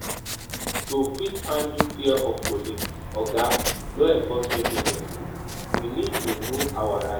To fit handle fear of police and oda law enforcement agencies we need to know we need